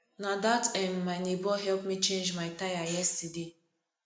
na dat um my nebor help me change my tire yesterday